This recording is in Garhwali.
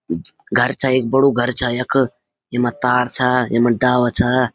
घर छा एक बड़ू घर छा यख यमा तार छा यमा डाला छा।